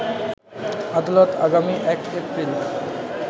আদালত আগামী ১এপ্রিল